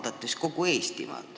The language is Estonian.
Pean silmas kogu Eestimaad.